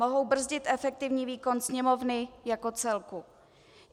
Mohou brzdit efektivní výkon Sněmovny jako celku.